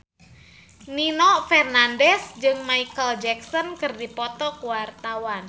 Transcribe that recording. Nino Fernandez jeung Micheal Jackson keur dipoto ku wartawan